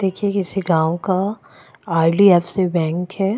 देखे किसी गाव का आर.डी.एफ़.सी. बैंक हैं।